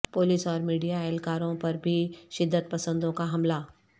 police اور media اہلکار وں پر بھی شدت پسندوں کا حملہ